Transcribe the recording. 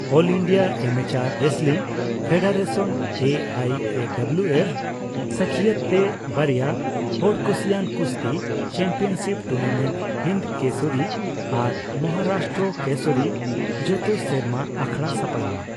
ᱚᱞ India amateur wrestling federation (ᱮᱹᱟᱭᱹᱮᱹᱰᱩᱵᱞᱤᱭᱩᱹᱮᱯ) ᱥᱟᱹᱠᱷᱤᱭᱟᱹᱛ ᱛᱮ ᱵᱟᱨᱭᱟ ᱦᱚᱲᱠᱩᱥᱤᱭᱟᱱ ᱠᱩᱥᱛᱤ ᱪᱮᱢᱯᱤᱭᱚᱱᱥᱤᱯ ᱴᱩᱨᱱᱟᱢᱮᱱᱴ ᱦᱤᱱᱫ ᱠᱮᱥᱚᱨᱤ ᱟᱨ ᱢᱚᱦᱟᱨᱟᱥᱴᱨᱚ ᱠᱮᱥᱚᱨᱤ ᱡᱚᱛᱚ ᱥᱮᱨᱢᱟ ᱟᱠᱷᱲᱟ ᱥᱟᱯᱲᱟᱣᱚᱜᱼᱟ ᱾